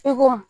E ko mun